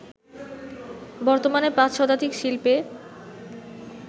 বর্তমানে ৫ শতাধিক শিল্পে